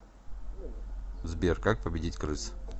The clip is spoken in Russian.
сбер как победить крыс